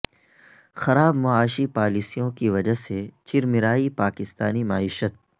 خراب معاشی پالیسیوں کی وجہ سے چرمرائی پاکستانی معیشت